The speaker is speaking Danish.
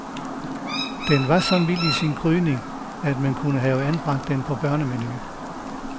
Den var så mild i sin krydring, at man kunne have anbragt den på børnemenuen.